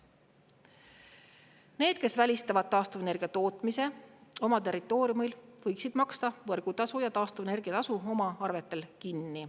Need, kes välistavad taastuvenergia tootmise oma territooriumil, võiksid maksta võrgutasu ja taastuvenergia tasu oma arvetel kinni.